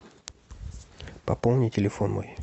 пополни телефон мой